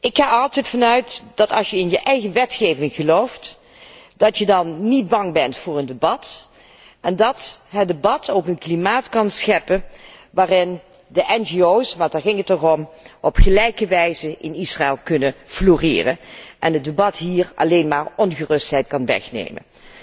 Ik ga er altijd vanuit dat je, als je in je eigen wetgeving gelooft, niet bang bent voor een debat, en dat het debat ook een klimaat kan scheppen waarin de ngo's want daar ging het toch om op gelijke wijze in Israël kunnen floreren en het debat hìer alleen maar ongerustheid kan wegnemen.